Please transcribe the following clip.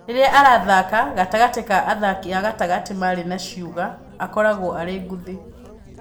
Rĩrĩa arathaka gatagatĩ ka athaki a gatagatĩ marĩ na ciũga, akoragwo arĩ ngũthi